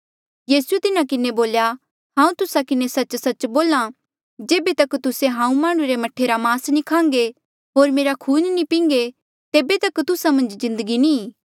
यीसूए तिन्हा किन्हें बोल्या हांऊँ तुस्सा किन्हें सच्च सच्च बोल्हा जेबे तक तुस्से हांऊँ माह्णुं रे मह्ठे रा मास नी खान्घे होर मेरा खून नी पिंघे तेबे तक तुस्सा मन्झ जिन्दगी नी ई